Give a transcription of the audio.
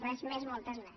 res més moltes gràcies